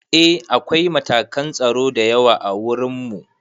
Eh akwai matakan tsaro da yawa ã wurin mu.